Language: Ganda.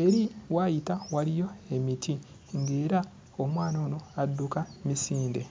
eri w'ayita waliyo emiti ng'era omwana ono adduka misinde.